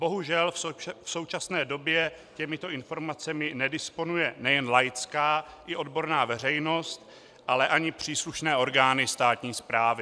Bohužel v současné době těmito informacemi nedisponuje nejen laická i odborná veřejnost, ale ani příslušné orgány státní správy.